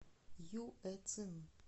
юэцин